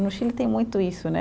No Chile tem muito isso, né?